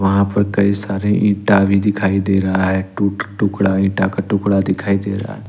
वहां पर कई सारे ईटा भी दिखाई दे रहा है टूट टुकड़ा ईटा का टुकड़ा दिखाई दे रहा है।